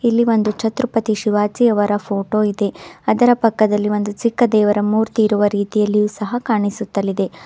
ಇಲ್ಲಿ ಒಂದು ಛತ್ರಪತಿ ಶಿವಾಜಿಯವರ ಫೋಟೋ ಇದೆ ಅದರ ಪಕ್ಕದಲ್ಲಿ ಒಂದು ಚಿಕ್ಕ ದೇವರ ಮೂರ್ತಿ ಇರುವ ರೀತಿಯಲ್ಲಿಯೂ ಸಹ ಕಾಣಿಸುತ್ತಲಿದೆ.